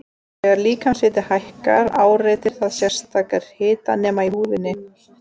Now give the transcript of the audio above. Þegar líkamshiti hækkar áreitir það sérstaka hitanema í húðinni.